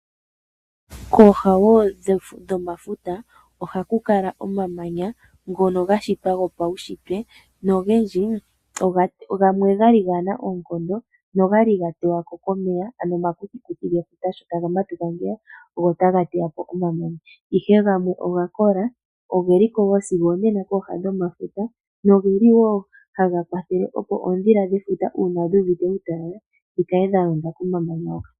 Kooha woo dhomafuta ohaku kala omamanya ngono gashitwa gopaushitwe nogendji gamwe okwali kagena oonkondo, noga li ga tewa po komeya ano omakuthikuthi gefuta sho taga matuka go otaga teya po omamanya ihe gamwe oga kola ogeliko sigo onena kooha dhefuta nogeli woo haga kwathele oondhila dhefuta uuna dhu uvite uutala dhikale dhalonda komamanya hoka.